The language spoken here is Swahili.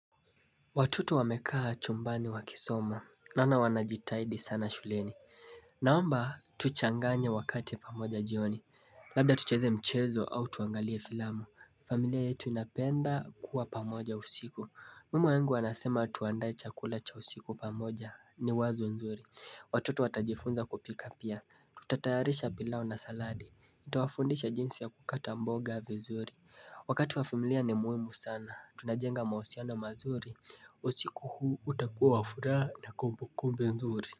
Watoto wamekaa chumbani wakisoma naona wanajitahidi sana shuleni. Naomba, tuchanganye wakati pamoja jioni. Labda tucheze mchezo au tuangalie filamu. Familia yetu inapenda kuwa pamoja usiku. Mama yangu anasema tuandae chakula cha usiku pamoja ni wazo nzuri. Watuto watajifunza kupika pia. Tutatayarisha pilau na saladi. Nitawafundisha jinsi ya kukata mboga vizuri. Wakati wa fumilia ni muhimu sana. Tunajenga mahusiano mazuri. Usiku huu utakuwa wa furaha na kumbukumbe nzuri.